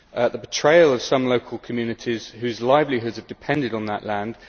the betrayal of some local communities whose livelihoods have depended on that land